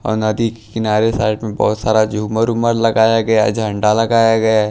और नदी के किनारे साइड में बहोत सारा झूमर उमर लगाया गया झंडा लगाया गया--